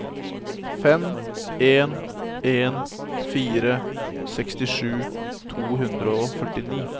fem en en fire sekstisju to hundre og førtini